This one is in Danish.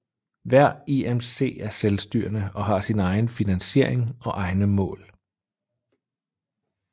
Hver IMC er selvstyrende og har egen finansiering og egne mål